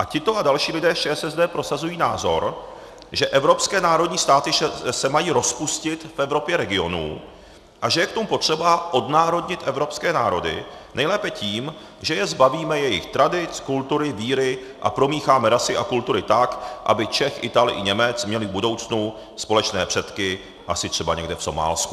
A tito a další lidé z ČSSD prosazují názor, že evropské národní státy se mají rozpustit v Evropě regionů a že je k tomu potřeba odnárodnit evropské národy nejlépe tím, že je zbavíme jejich tradic, kultury, víry a promícháme rasy a kultury tak, aby Čech, Ital i Němec měli v budoucnu společné předky asi třeba někde v Somálsku.